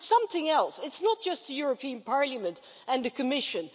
Something else it's not just the European Parliament and the Commission